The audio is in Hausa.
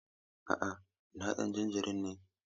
A'a, ina ɗan jin jiri ne.